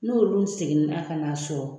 N'olu segin na ka n'a sɔrɔ